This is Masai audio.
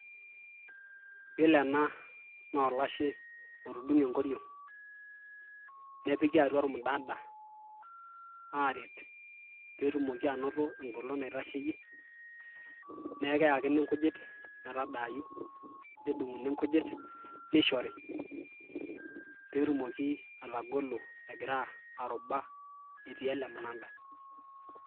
iyiolo ena naa olashe otudung'e enkoriong',nepiki atua ormunada, aaret pee etuoki anoto eng'olon naitasheyie. neeku keyakini inkujit metadaayu, nedung'uni nujit neishori, pee etumoki atagolo egira aruba etii ele munada.